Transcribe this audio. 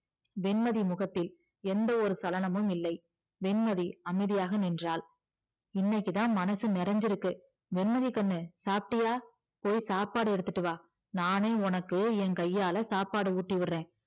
வெண்மதி முகத்தில் எந்த ஒரு சலனமும் இல்லை வெண்மதி அமைதியாக நின்றாள் இன்னைக்குதான் மனசு நிறைஞ்சுருக்கு வெண்மதி கண்ணு சாப்பிட்டியா போய் சாப்பாடு எடுத்துட்டு வா நானே உனக்கு என் கையால சாப்பாடு ஊட்டி விடுறேன்